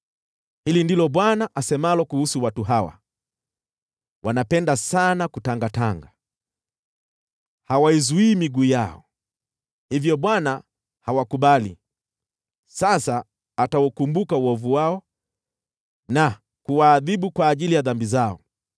Hili ndilo Bwana asemalo kuhusu watu hawa: “Wanapenda sana kutangatanga, hawaizuii miguu yao. Hivyo Bwana hawakubali; sasa ataukumbuka uovu wao na kuwaadhibu kwa ajili ya dhambi zao.”